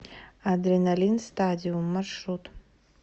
адреналин стадиум маршрут